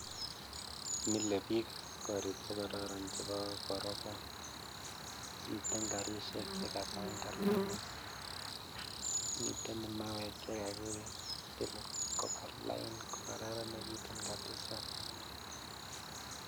Milebiik korik chekororon chebo korobaa miten karishek chabangan lain, miten mauek chekakitil kobaa lain kokararanekitun kabisa.